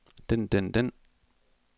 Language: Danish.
den den den